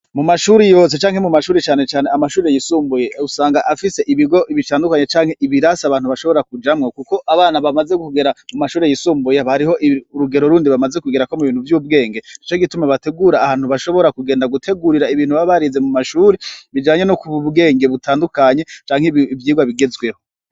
Mumashuri yose canke mu mashuri cane cane mu mashuri yisumbuye usanga afise ibigo bitandukanye canke ibirasi abantu bashobora kujamwo kuko abana bamaze kugera mumashuri yisumbuye hariho urugero rundi bamaze kugerako muvyubwenge nico gituma bategura ahantu bashobora kugenda gutegurira ibintu baba barize mu mashure bijanye nokungura ubwenge butandukanye canke ivyigwa bigezweho.